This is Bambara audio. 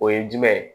O ye jumɛn ye